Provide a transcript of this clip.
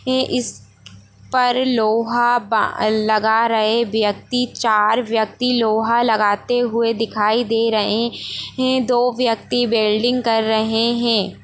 ये इस पर लोहा बा लगा रहे व्यक्ति चार व्यक्ति लोहा लगाते हुए दिखाई दे रहे हैं दो व्यक्ति वेल्डिंग कर रहे हैं।